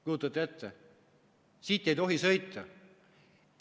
Kujutate ette, siit ei tohi sõita!